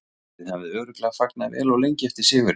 Þið hafið örugglega fagnað vel og lengi eftir sigurinn?